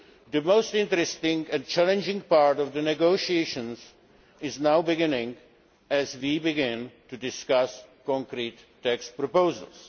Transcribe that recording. The most interesting and challenging part of the negotiations is now beginning, as we begin to discuss concrete text proposals.